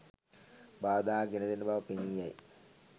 බාධා ගෙන දෙන බව පෙනී යයි.